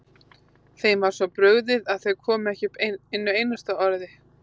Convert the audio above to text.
Þeim var svo brugðið að þau komu ekki upp einu einasta orði.